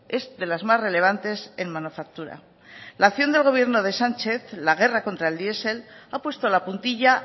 es de las más relevantes en manufactura la acción del gobierno de sánchez la guerra contra el diesel ha puesto la puntilla